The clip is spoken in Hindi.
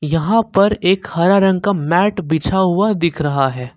यहां पर एक हरा रंग का मैट बिछा हुआ दिख रहा है।